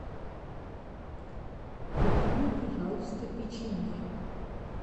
купи мне пожалуйста печенье